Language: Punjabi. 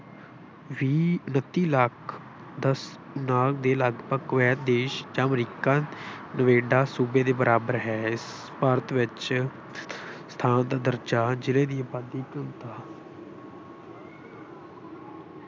ਵੀਹ, ਅਠੱਤੀ ਲੱਖ ਦਸ ਕਨਾਲ ਦੇ ਲਗਭਗ ਦੇਸ਼ ਜਾਂ ਅਮਰੀਕਨ ਸੂਬੇ ਦੇ ਬਰਾਬਰ ਹੈ। ਇਸ ਭਾਰਤ ਵਿੱਚ ਸਥਾਨ ਦਰਜਾ ਜਾਂ ਜਿਲ੍ਹੇ ਦੀ ਆਬਾਦੀ ਇੱਕ